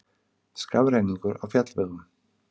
Skafrenningur á fjallvegum